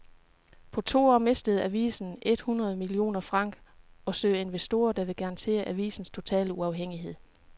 På to år mistede avisen et hundrede millioner franc og søger investorer, der vil garantere avisens totale uafhængighed.